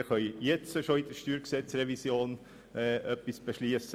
Wir können bereits jetzt im Rahmen der Steuergesetzrevision etwas beschliessen.